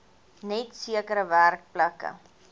net sekere werkplekke